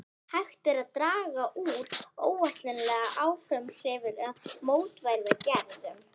Hægt er að draga úr óæskilegum umhverfisáhrifum með mótvægisaðgerðum.